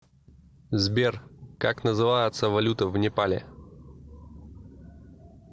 сбер как называется валюта в непале